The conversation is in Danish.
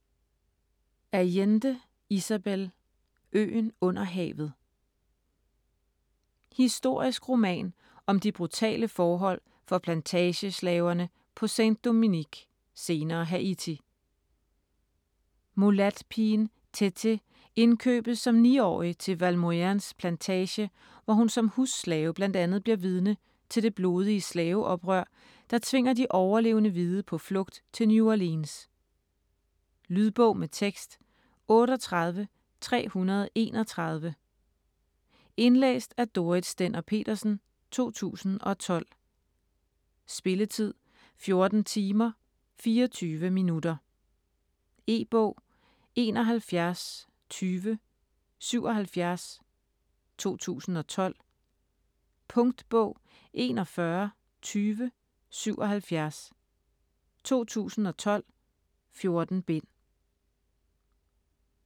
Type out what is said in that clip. Allende, Isabel: Øen under havet Historisk roman om de brutale forhold for plantageslaverne på Sainte-Domingue (senere Haiti). Mulatpigen Tété indkøbes som 9-årig til Valmorains plantage, hvor hun som husslave bl.a. bliver vidne til det blodige slaveoprør, der tvinger de overlevende hvide på flugt til New Orleans. Lydbog med tekst 38331 Indlæst af Dorrit Stender-Petersen, 2012. Spilletid: 14 timer, 24 minutter. E-bog 712077 2012. Punktbog 412077 2012. 14 bind.